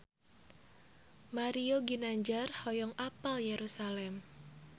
Mario Ginanjar hoyong apal Yerusalam